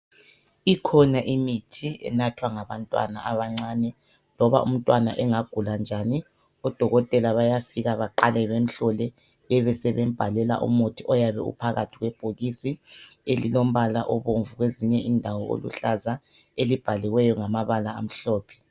Ikhona imithi enathwa ngabantwana abancane loba umtwana engagula njani odokotela bayafika baqale bamhlole bebe sebembhalela umuthi oyabe uphakathi kwebhokisi elilombala obomvu kwezinye indawo oluhlaza elibhaliweyo ngamabala amhlophe